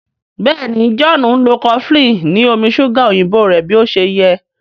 Béèni John nlọ cofflin ni omí ṣuga òyìnbó rẹ bí ọṣẹ yé.